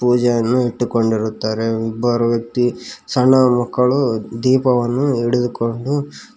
ಪೂಜೆಯನ್ನು ಇಟ್ಟುಕೊಂಡಿರುತ್ತಾರೆ ಇಬ್ಬರು ವ್ಯಕ್ತಿ ಸಣ್ಣ ಮಕ್ಕಳು ದೀಪವನ್ನು ಹಿಡಿದುಕೊಂಡು--